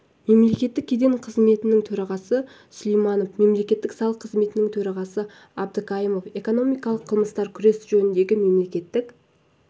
мемлекеттік кеден қызметінің төрағасы сулайманов мемлекеттік салық қызметінің төрағасы абдыкаимов экономикалық қылмыстармен күрес жөніндегі мемлекеттік